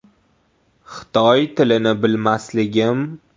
Xitoy tilini bilmasligim.